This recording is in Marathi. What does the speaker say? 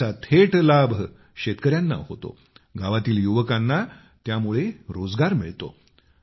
त्याचा थेट लाभ शेतकऱ्यांना होतो गावातील युवकांना त्यामुळे रोजगार मिळतो